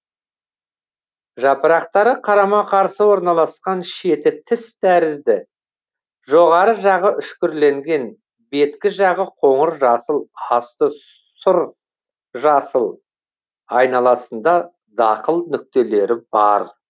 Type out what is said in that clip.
жапырақтары қарама қарсы орналасқан шеті тіс тәрізді жоғары жағы үшкірленген беткі жағы қоңыр жасыл асты сүр жасыл айналасында дақыл нүктелері бар